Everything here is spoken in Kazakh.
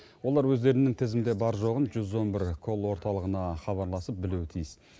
олар өздерінің тізімде бар жоғын жүз он бір колл орталығына хабарласып білуі тиіс